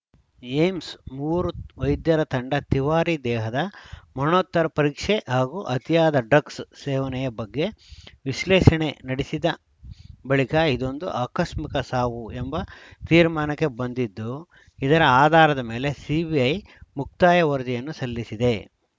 AIIMS ಮೂವರು ವೈದ್ಯರ ತಂಡ ತಿವಾರಿ ದೇಹದ ಮರಣೋತ್ತರ ಪರೀಕ್ಷೆ ಹಾಗೂ ಅತಿಯಾದ ಡ್ರಗ್ಸ್‌ ಸೇವನೆಯ ಬಗ್ಗೆ ವಿಶ್ಲೇಷಣೆ ನಡೆಸಿದ ಬಳಿಕ ಇದೊಂದು ಆಕಸ್ಮಿಕ ಸಾವು ಎಂಬ ತೀರ್ಮಾನಕ್ಕೆ ಬಂದಿದ್ದು ಇದರ ಆಧಾರದ ಮೇಲೆ ಸಿಬಿಐ ಮುಕ್ತಾಯ ವರದಿಯನ್ನು ಸಲ್ಲಿಸಿದೆ